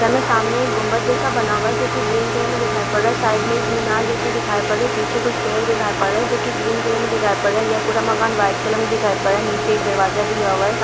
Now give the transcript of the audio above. यहाँ सामने एक गुंबज जैसा बना हुआ है जो ग्रीन कलर में दिखाई पड़ रहा है| साइड में एक मीनार जैसी दिखाई पड़ रही है| पीछे कुछ पेड़ दिखाई पड़ रहे हैं जो की ग्रीन कलर में दिखाई पड़ रहा है| यह पूरा घर व्हाइट कलर में है| नीचे एक दरवाजा दिया हुआ है। सा--